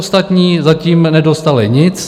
Ostatní zatím nedostali nic.